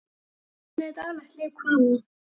Hvernig er daglegt líf hvala?